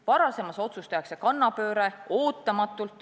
Varasemas otsuses tehakse kannapööre, ootamatult.